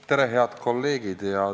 Tere, head kolleegid!